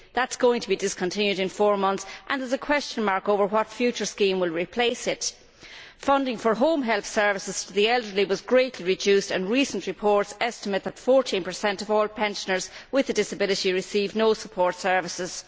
That is going to be discontinued in four months and there is a question mark over what future scheme will replace it. Funding for home help services to the elderly was greatly reduced and recent reports estimate that 14 of all pensioners with a disability receive no support services.